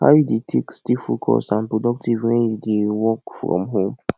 how you dey take stay focused and productive when you dey work from home